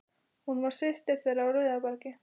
Hún var systir þeirra á Rauðabergi.